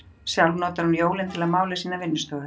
Sjálf notar hún jólin til að mála sína vinnustofu.